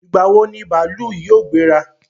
Ìgbà wo ni bàálù yóò gbéra?